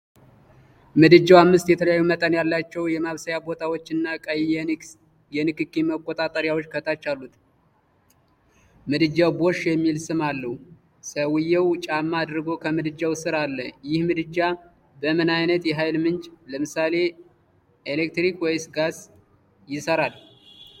ምድጃው አምስት የተለያዩ መጠን ያላቸው የማብሰያ ቦታዎች እና ቀይ የንክኪ መቆጣጠሪያዎች ከታች አሉት። ምድጃው “ቦሽ” የሚል ስም አለው፤ ሰውዬው ጫማ አድርጎ ከምድጃው ስር አለ። ይህ ምድጃ በምን ዓይነት የኃይል ምንጭ (ለምሳሌ፣ ኤሌክትሪክ ወይስ ጋዝ) ይሠራል?